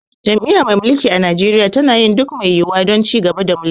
Jam'iyya mai mulki a Najeriya tana yin duk mai yiwuwa don ci gaba da mulki.